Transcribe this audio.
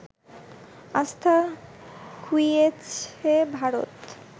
আস্থা খুইয়েছে ভারত